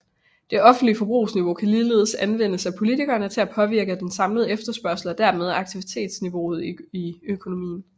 Det offentlige forbrugsniveau kan ligeledes anvendes af politikerne til at påvirke den samlede efterspørgsel og dermed aktivitetsniveauet i økonomien